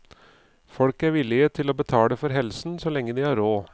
Folk er villige til å betale for helsen så lenge de har råd.